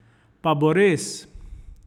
Pa bo res?